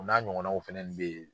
U n'a ɲɔgɔnaw fɛnɛ be yen